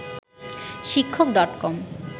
শিক্ষক ডট কম